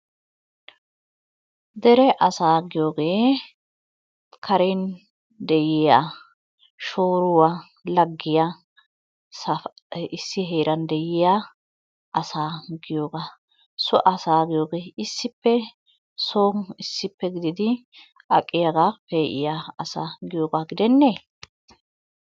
Dere asaa giyoogee karen de"iyaa shooruwaa laggiya issi heeran de"iyaa asaa giyoogaa. So asaa giyoogee issippe soon issippe gididi aqiyaagaa pe"iyaa asaa giyoogaa gidennee?